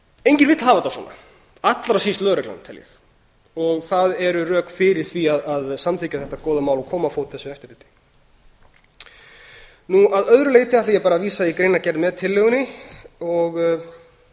enginn vill hafa þetta svona allra síst lögreglan tel ég það eru rök fyrir því að samþykkja þetta góða mál og koma á fót þessu eftirliti að öðru leyti ætla ég bara að vísa í greinargerð með tillögunni og